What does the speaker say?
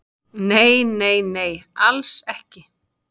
Nei, nei, nei, alls ekki